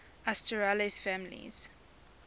asterales families